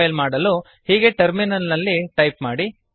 compile ಮಾಡಲು ಹೀಗೆ terminal ನಲ್ಲಿ ಟೈಪ್ ಮಾಡಿ